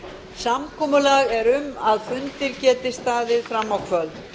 samkomulag er um að fundir geti staðið fram á kvöld